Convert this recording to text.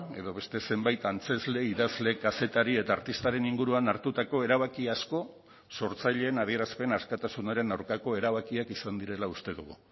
edo beste zenbait antzezle idazle kazetari eta artistaren inguruan hartutako erabaki asko sortzaileen adierazpen askatasunaren aurkako erabakiak izan direla uste dugu